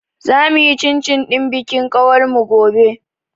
Za mu yi cin cin ɗin bikin ƙawar mu gobe.